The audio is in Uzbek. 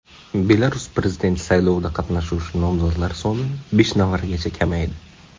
Belarus prezidenti saylovida qatnashuvchi nomzodlar soni besh nafargacha kamaydi.